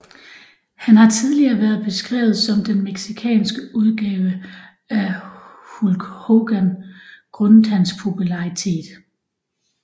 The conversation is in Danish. Han har tidligere været beskrevet som den mexicanske udgave af Hulk Hogan grundet hans popularitet